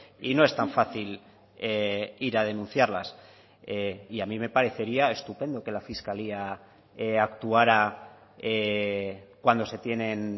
y no es tan fácil ir a denunciarlas y a mí me parecería estupendo que la fiscalía actuara cuando se tienen